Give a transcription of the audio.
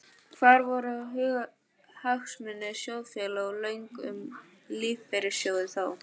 Hvar voru hagsmunir sjóðfélaga og lög um lífeyrissjóði þá?